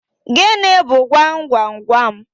Gịnị bu gwam gwam gwam?